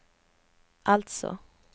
alltså